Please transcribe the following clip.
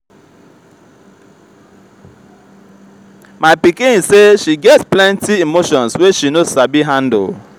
my pikin say she get get plenty emotions wey she no sabi handle.